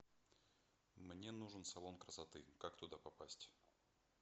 мне нужен салон красоты как туда попасть